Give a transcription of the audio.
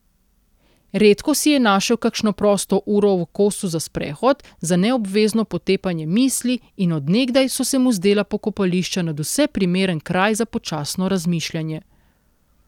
Redko si je našel kakšno prosto uro v kosu za sprehod, za neobvezno potepanje misli, in od nekdaj so se mu zdela pokopališča nadvse primeren kraj za počasno razmišljanje.